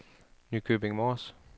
Nykøbing Mors